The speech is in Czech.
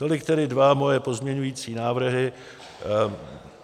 Tolik tedy dva moje pozměňovací návrhy.